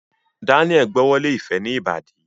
Daniel gb'ọwọ Lẹ ifẹ ní Ìbàdí.